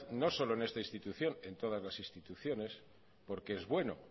no solo en esta institución en todas las instituciones porque es bueno